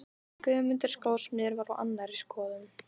En Guðmundur skósmiður var á annarri skoðun.